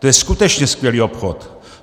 To je skutečně skvělý obchod.